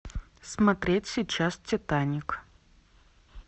смотреть сейчас титаник